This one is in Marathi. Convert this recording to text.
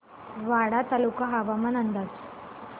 वाडा तालुका हवामान अंदाज